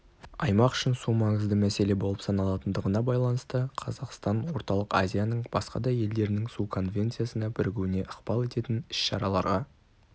аймақ үшін су маңызды мәселе болып саналатындығына байланысты қазақстан орталық азияның басқа да елдерінің су конвенциясына бірігуіне ықпал ететін іс-шараларға